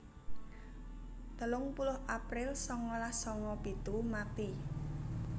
telung puluh april sangalas sanga pitu mati